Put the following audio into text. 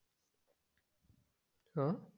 ह